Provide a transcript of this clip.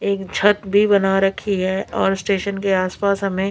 एक छत भी बना रखी है और स्टेशन के आस पास हमे--